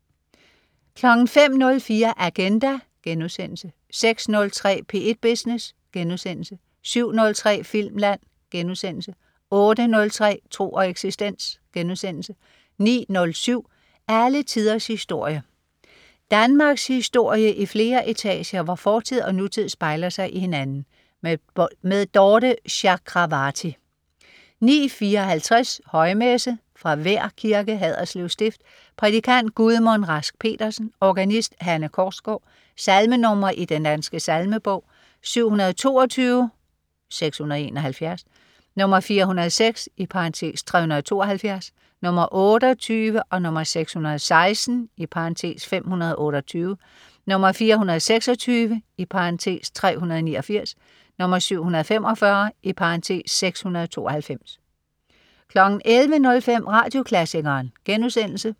05.04 Agenda* 06.03 P1 Business* 07.03 Filmland* 08.03 Tro og eksistens* 09.07 Alle tiders historie. Danmarkshistorie i flere etager, hvor fortid og nutid spejler sig i hinanden. Dorthe Chakravarty 09.54 Højmesse. Fra Vær Kirke, Haderslev Stift. Prædikant: Gudmund Rask Pedersen. Organist: Hanne Korsgaard. Salmenr. i Den Danske Salmebog: 722 (671), 406 (372), 28, 616 (528), 426 (389), 745 (692) 11.05 Radioklassikeren*